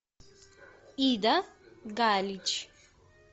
ида галич